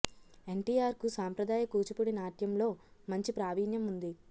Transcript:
ఎన్టీఆర్ కు సాంప్రదాయ కూచిపూడి నాట్యంలో మంచి ప్రావీణ్యం ఉంది